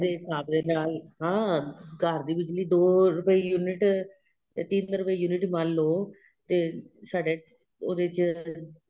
limit ਹਿਸਾਬ ਦੇ ਨਾਲ ਹਾਂ ਘਰ ਦੀ ਬਿੱਜਲੀ ਦੋ ਰੁਪਏ unit ਤਿੰਨ ਰੁਪਏ unit ਮੰਨ ਲਵੋ ਤੇ ਸਾਡੇ ਉਹਦੇ ਚ